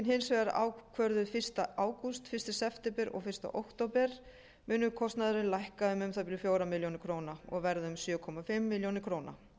hins vegar ákvörðuð fyrsta ágúst fyrsta september og fyrsta október mun kostnaður lækka um um það bil fjórar milljónir króna og verða sjö og hálfa milljón króna